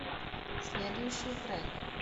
следующий трек